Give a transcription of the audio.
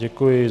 Děkuji.